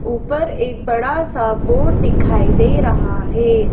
ऊपर एक बड़ा सा बोर्ड दिखाई दे रहा है।